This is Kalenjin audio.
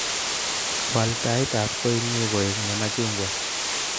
Waal taitab kotnyu koek nemachungwaa